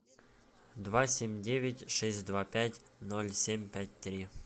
два семь девять шесть два пять ноль семь пять три